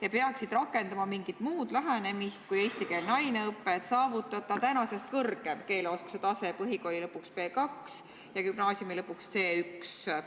Nad peaksid rakendama mingit muud lähenemist kui eestikeelne aineõpe, et saavutada praegusest kõrgem keeleoskuse tase – põhikooli lõpuks B2 ja gümnaasiumi lõpuks C1.